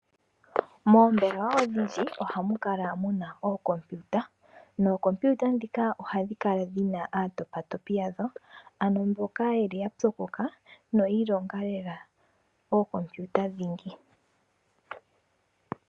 Moombelewa odhindji ohamu kala muna ookompiuta nookompiuta ndhika ohadhi kala dhina aatopatopi yadho . Ano mboka yeli ya pyokoka noyiilongela lela ookompiuta dhingi.